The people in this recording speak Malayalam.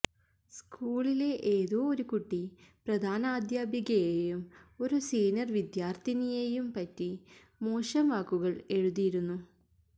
സ്കൂളിലെ ഏതോ ഒരു കുട്ടി പ്രധാനാധ്യാപികയെയും ഒരു സീനിയർ വിദ്യാർഥിനിയെയും പറ്റി മോശം വാക്കുകൾ എഴുതിയിരുന്നു